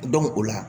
o la